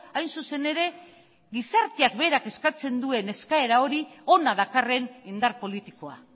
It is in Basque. hain zuzen ere gizarteak berak eskatzen duen eskaera hori hona dakarren indar politikoa